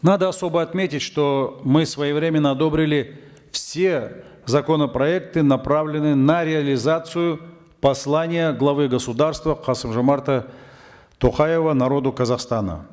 надо особо отметить что мы своевременно одобрили все законопроекты направленные на реализацию послания главы государства касым жомарта токаева народу казахстана